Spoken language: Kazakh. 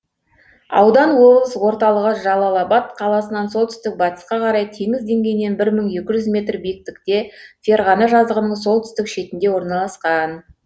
аудан облыс орталығы жалалабат қаласынан солтүстік батысқа қарай теңіз деңгейінен бір мың екі жүз метр биіктікте ферғана жазығының солтүстік шетінде орналасқан